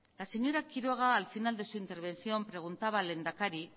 la señora quiroga al final de su intervención preguntaba al lehendakari